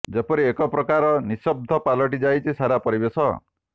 ଯେପରି ଏକ ପ୍ରକାର ନିସ୍ତବ୍ଧ ପାଲଟି ଯାଇଛି ସାରା ପରିବେଶ